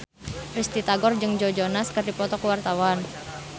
Risty Tagor jeung Joe Jonas keur dipoto ku wartawan